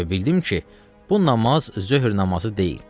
Və bildim ki, bu namaz zöhr namazı deyil.